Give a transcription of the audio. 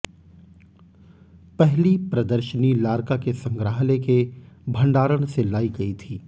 पहली प्रदर्शनी लार्का के संग्रहालय के भंडारण से लाई गई थी